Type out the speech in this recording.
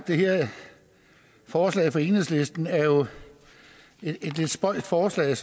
det her forslag fra enhedslisten er jo et lidt spøjst forslag